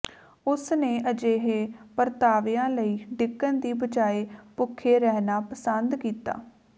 ਉਸ ਨੇ ਅਜਿਹੇ ਪਰਤਾਵਿਆਂ ਲਈ ਡਿੱਗਣ ਦੀ ਬਜਾਏ ਭੁੱਖੇ ਰਹਿਣਾ ਪਸੰਦ ਕੀਤਾ